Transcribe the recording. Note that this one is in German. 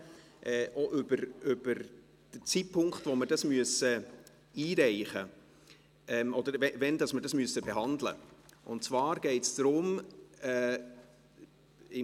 Es geht um den Zeitpunkt, zu dem wir diesen Antrag behandeln müssen, und zwar geht es um Folgendes: